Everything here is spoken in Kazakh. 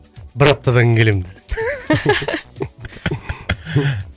бір аптадан